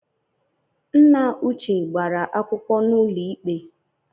Nna uche gbara akwụkwọ n’ụlọikpe